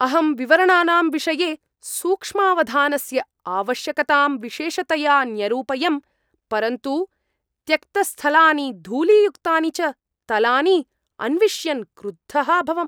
अहं विवरणानां विषये सूक्ष्मावधानस्य आवश्यकतां विशेषतया न्यरूपयं, परन्तु त्यक्तस्थलानि, धूलीयुक्तानि च तलानि अन्विष्यन् क्रुद्धः अभवम्।